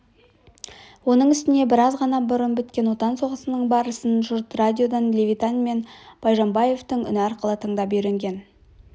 оның үстіне біраз ғана бұрын біткен отан соғысының барысын жұрт радиодан левитан мен байжанбаевтың үні арқылы тыңдап үйренген